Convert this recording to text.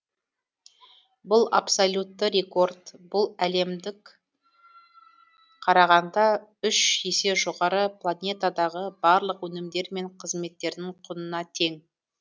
бұл абсолютті рекорд бұл әлемдік қарағанда үш есе жоғары планетадағы барлық өнімдер мен қызметтердің құнына тең